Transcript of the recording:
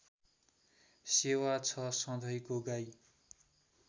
सेवा छ सधैँको गाई